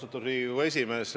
Austatud Riigikogu esimees!